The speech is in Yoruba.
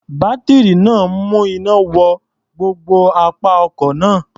Bátírí náà ń mú iná wọ gbogbo apá ọkọ̀ náà.